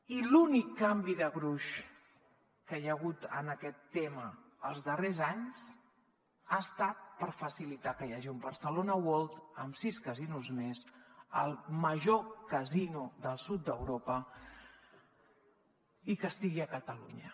i l’únic canvi de gruix que hi ha hagut en aquest tema els darrers anys ha estat per facilitar que hi hagi un barcelona world amb sis casinos més el major casino del sud d’europa i que estigui a catalunya